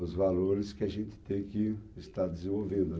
Os valores que a gente tem que estar desenvolvendo, né.